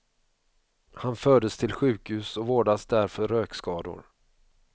Han fördes till sjukhus och vårdas där för rökskador.